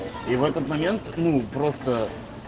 и в этот момент ну просто